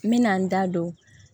N bɛna n da don